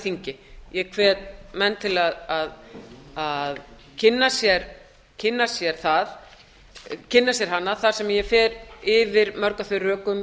þingi ég hvet menn til að kynna sér hana þar sem ég fer yfir mörg af þeim rökum